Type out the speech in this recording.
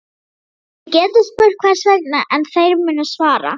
Þið getið spurt hvers vegna, en þeir munu svara